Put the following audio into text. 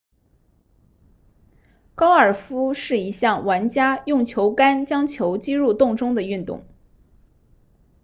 高尔夫是一项玩家用球杆将球击入洞中的运动